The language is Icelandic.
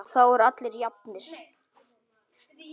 Og þá eru allir jafnir.